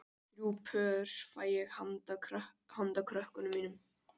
Þrjú pör fæ ég handa krökkunum mínum